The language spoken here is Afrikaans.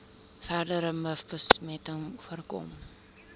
verdere mivbesmetting voorkom